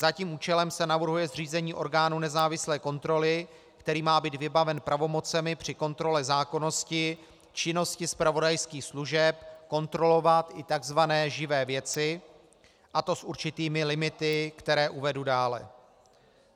Za tím účelem se navrhuje zřízení orgánu nezávislé kontroly, který má být vybaven pravomocemi při kontrole zákonnosti činnosti zpravodajských služeb kontrolovat i tzv. živé věci, a to s určitými limity, které uvedu dále.